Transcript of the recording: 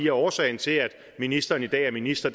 at årsagen til at ministeren i dag er minister